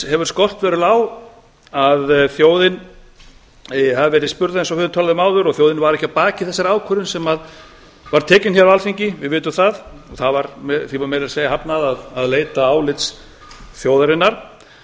hefur skort verulega á að þjóðin hafi verið spurð eins og við töluðum um áður og þjóðin var ekki að baki þessari ákvörðun sem var tekin hér á alþingi við vitum það og því var meira að segja hafnað að leita álits þjóðarinnar og